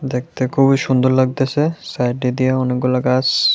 দেখতে খুবই সুন্দর লাগতেছে সাইডে দিয়া অনেকগুল গাছ--